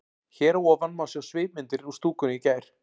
Hér að ofan má sjá svipmyndir úr stúkunni í gær.